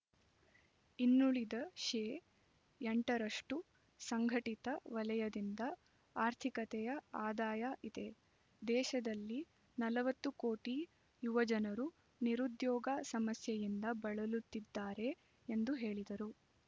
ಇನ್ನುಳಿದ ಶೇ ಎಂಟು ರಷ್ಟು ಸಂಘಟಿತ ವಲಯದಿಂದ ಆರ್ಥಿಕತೆಯ ಆದಾಯ ಇದೆ ದೇಶದಲ್ಲಿ ನಲವತ್ತು ಕೋಟಿ ಯುವಜನರು ನಿರುದ್ಯೋಗ ಸಮಸ್ಯೆಯಿಂದ ಬಳಲುತ್ತಿದ್ದಾರೆ ಎಂದು ಹೇಳಿದರು